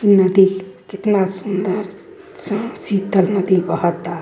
नदी कितना सुन्दर साफ शीतल नदी बहता।